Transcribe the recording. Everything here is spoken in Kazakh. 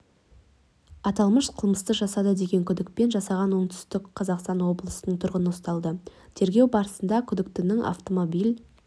аталмыш қылмысты жасады деген күдікпен жастағы оңтүстік қазақстан облысының тұрғыны ұсталды тергеу барысында күдіктінің автомобиль